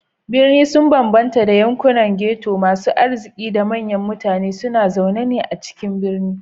Birni sun bambanta da yankunan ghetto, masu arziki da manyan mutane suna zaune a cikin birane.